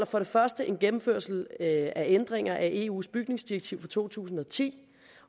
for det første en gennemførelse af ændringer af eus bygningsdirektiv fra to tusind og ti